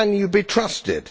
Can you be trusted?